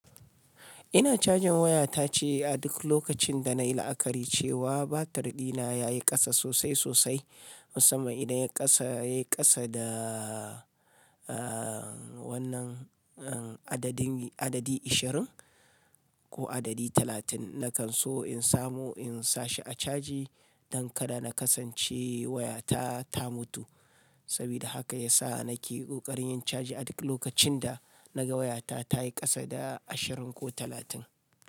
Ina caja wayata ce a duk lokacin danai la'akari cewa batiri na yayi ƙasa sosai-sosai. Musamman idan yai ƙasa, yai ƙasa da aa wannan adadin, adadi ashirin ko adadi talatin, na kan so in samu in sa shi a caji don kada na kasance wayata ta mutu. Sabida haka yasa nake ƙoƙarin yin caji a duk lokacin da naga wayata ta yi ƙasa da ashirin ko talatin.